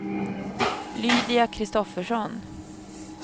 Lydia Kristoffersson